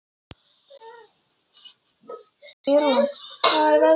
Ýrún, hvernig verður veðrið á morgun?